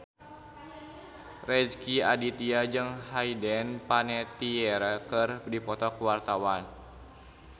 Rezky Aditya jeung Hayden Panettiere keur dipoto ku wartawan